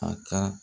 A ka